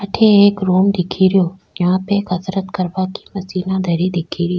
अठे एक रूम दिखे रियो जहाँ पे कसरत करवा की मशीना धरी दिखे री।